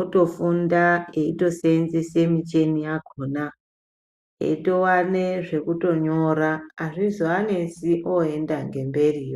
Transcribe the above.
otofunda eitosenzesa muchini yakona eitowana zvekutonyora hazvizovanesi voenda ngepamberi